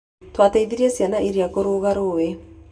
Twateithirie ciana iria kũringa rũũĩ.